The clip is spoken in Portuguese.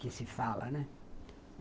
que se fala, né?